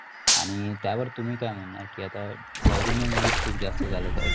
आणि त्यावर तुम्ही काय म्हणणार की आता south indian movies जास्त झाले आहेत.